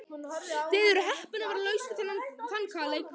Þið eruð heppin að vera laus við þann kaleik.